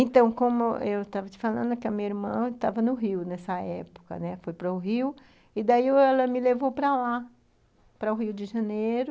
Então, como eu estava te falando que a minha irmã estava no Rio nessa época, né, foi para o Rio, e daí ela me levou para lá, para o Rio de Janeiro,